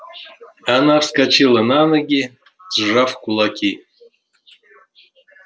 она вскочила на ноги сжав кулаки